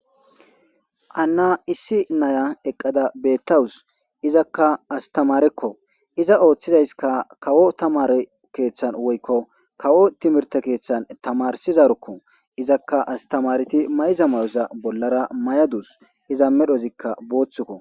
Hanna issi nayya eqqadda bethawus. Izzaka astamarekko izza oththizaykka kawo tamare keeththan woykko kawo tiryhthe kethan tamarsizarokko izzaka astemarethi mayza mayo bollara mayadus izza medhozikka bothikko.